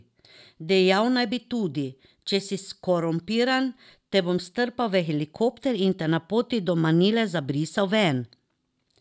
Dejal naj bi tudi: 'Če si skorumpiran, te bom strpal v helikopter in te na poti do Manile zabrisal ven.